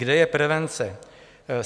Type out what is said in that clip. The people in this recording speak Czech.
Kde je prevence?